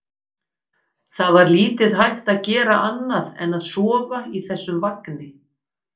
Það var lítið hægt að gera annað en að sofa í þessum vagni.